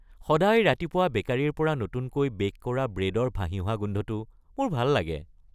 সদায় ৰাতিপুৱা বেকাৰীৰ পৰা নতুনকৈ বে’ক কৰা ব্ৰেডৰ ভাহি অহা গোন্ধটো মোৰ ভাল লাগে।